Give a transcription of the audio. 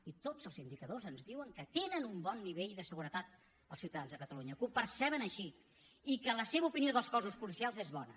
i tots els indicadors ens diuen que tenen un bon nivell de seguretat els ciutadans de catalunya que ho perceben així i que la seva opinió dels cossos policials és bona